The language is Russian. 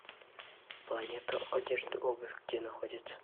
планета одежда обувь где находится